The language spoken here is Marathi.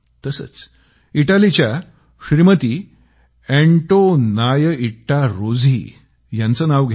तसंच इटलीच्या श्रीमती अँटोनिट्टा रोझी यांचं नाव घ्या